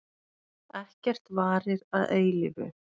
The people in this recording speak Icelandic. Ekkert varir að eilífu.